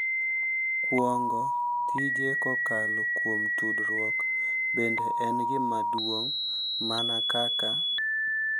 Kuong’o tije kokalo kuom tudruok bende en gima duong’ mana kaka.